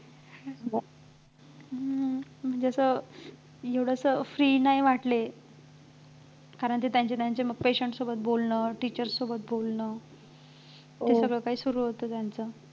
हम्म म्हणजे एवढं असं free नाही वाटले कारण की त्यांचे त्यांचे ते patient सोबत बोलणं teachers सोबत बोलणं हे सगळं काही सुरु होतं त्यांचं